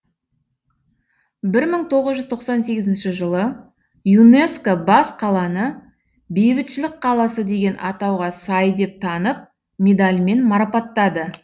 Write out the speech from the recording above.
бір мың тоғыз жүз тоқсан сегізінші жылы юнеско бас қаланы бейбітшілік қаласы деген атауға сай деп танып медальмен марапаттады